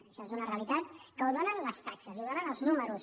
això és una realitat que la donen les taxes la donen els números